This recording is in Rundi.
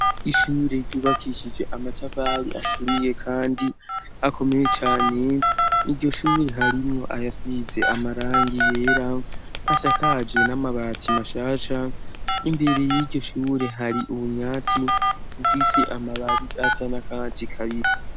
ishure ryubakishije amatafari aturiye kandi akomeye cane iryoshure harimwo ayasize amarangi yera asakaje n'amabati mashasha imbere y'iryoshure hari ubunyatsi bufise amababi asa na katsi kabisi